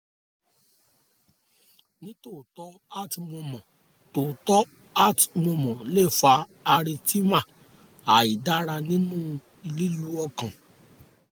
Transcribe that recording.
heart murmur tòótọ́ heart murmur lè fa arrhythmia àìdára nínú lílù ọkàn